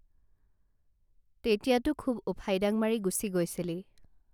তেতিয়াতো খুব ওফাইডাং মাৰি গুছি গৈছিলি